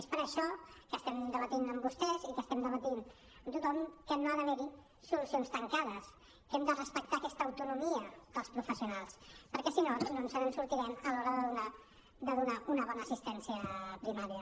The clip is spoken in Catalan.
és per això que estem debatent amb vostès i que estem debatent amb tothom que no ha d’haver hi solucions tancades que hem de respectar aquesta autonomia dels professionals perquè si no no ens en sortirem a l’hora de donar una bona assistència primària